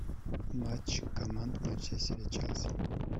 матч команд манчестер и челси